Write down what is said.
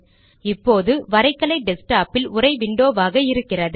இப்போது வரைகலை டெஸ்க்டாப்பில் உரை விண்டோவாக இருக்கிறது